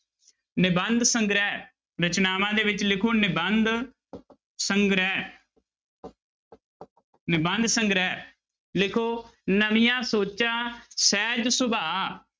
ਨਿਬੰਧ ਸੰਗ੍ਰਹਿ ਰਚਨਾਵਾਂ ਦੇ ਵਿੱਚ ਲਿਖੋ ਨਿਬੰਧ ਸੰਗ੍ਰਹਿ ਨਿਬੰਧ ਸੰਗ੍ਰਹਿ, ਲਿਖੋ ਨਵੀਆਂ ਸੋਚਾਂ, ਸਹਿਜ ਸੁਭਾ